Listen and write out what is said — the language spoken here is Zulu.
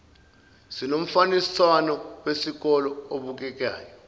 sinomfaniswano wesikole obukekayo